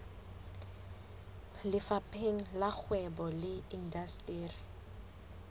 lefapheng la kgwebo le indasteri